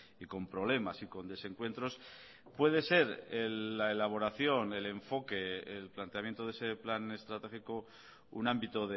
y con problemas y con desencuentros puede ser la elaboración el enfoque el planteamiento de ese plan estratégico un ámbito